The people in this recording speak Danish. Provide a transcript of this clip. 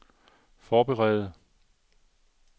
forberede